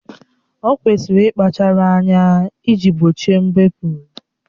O kwesịrị ịkpachara anya iji gbochie mbepụ